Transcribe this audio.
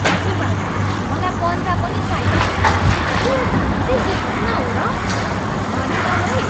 हजुर भाइ, मलाई पन्जा पनि चाहियो। के यो साँच्चै सित्तैँमा हो र? धन्यवाद है!